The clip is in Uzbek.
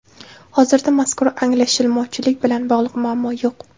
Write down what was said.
Hozirda mazkur anglashilmovchilik bilan bog‘liq muammo yo‘q.